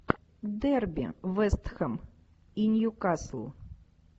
дерби вест хэм и ньюкасл